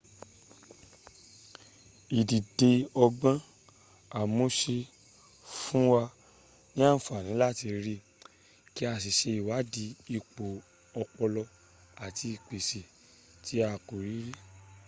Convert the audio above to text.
ìdide ọgbọ́n àmúṣe fún wa ni àǹfààní láti rí kí a sì ṣe ìwádìí ipo ọpọlọ àti ìgbéṣẹ̀ tí a kò rí rí